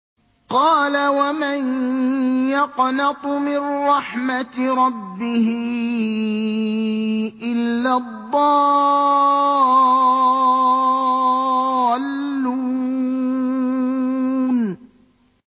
قَالَ وَمَن يَقْنَطُ مِن رَّحْمَةِ رَبِّهِ إِلَّا الضَّالُّونَ